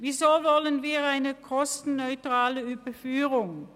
Wieso wollen wir eine kostenneutrale Überführung?